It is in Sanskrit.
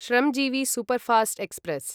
Shramjeevi superfast express